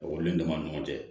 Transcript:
Ekɔlidenw dama ni ɲɔgɔn cɛ